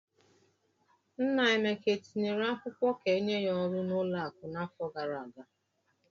Nna Emeka etinyere akwụkwọ ka enye ya ọrụ n'ụlọakụ n'afọ gara aga?